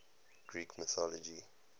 greek mythology